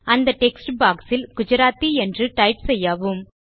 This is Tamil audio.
அந்த டெக்ஸ்ட்பாக்ஸ் இல் குஜராத்தி என்று டைப் செய்யவும்